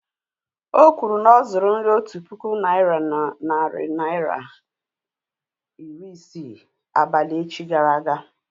Okwuru na ọ̀ zuru nri otu puku naị́ra na narị naịra ra iri isii abalị echi gara aga